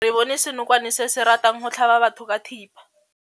Re bone senokwane se se ratang go tlhaba batho ka thipa.